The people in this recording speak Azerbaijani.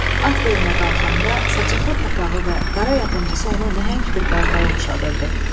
At belinə qalxanda saçaqlı papağı və qara yapıncısı onu nəhəng bir qartala oxşadırdı.